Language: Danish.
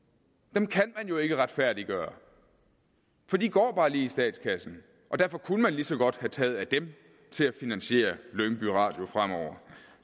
dem kan man jo ikke retfærdiggøre for de går bare lige i statskassen og derfor kunne man lige så godt have taget af dem til at finansiere lyngby radio fremover